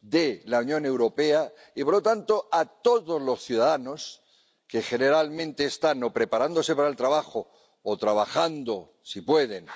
de la Unión Europea y, por lo tanto, a todos los ciudadanos que generalmente están o preparándose para el trabajo o trabajando —si pueden—